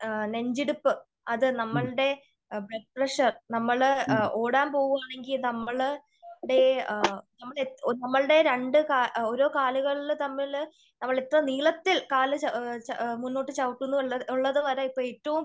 നെഞ്ചിടിപ്പ് അത് നമ്മളുടെ blood pressure, നമ്മള് ഓടാൻ പോകുകയാണെങ്കിൽ നമ്മളുടെ നമ്മളുടെ രണ്ട് ഓരോ കാലുകള് തമ്മില് നമ്മളിപ്പോ നീളത്തിൽ കാല് മുന്നോട്ട് ചവിട്ടുന്നു എന്ന് ഉള്ളത് വരെ